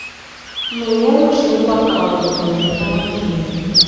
мне нужны бокалы в номер помоги мне